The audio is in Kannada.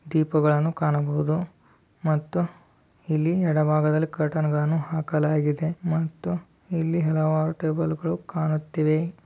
ದೀಪಗಳನ್ನು ಕಾಣಬಹುದು ಮತ್ತು ಎಡ ಭಾಗದಲ್ಲಿ ಕರ್ಟನ್ ಹಾಕಲಾಗಿದೆ ಮತ್ತು ಇಲ್ಲಿ ಹಲವಾರು ಟೇಬಲ್ ಗಳನ್ನು ಕಾಣುತ್ತಿದೆ.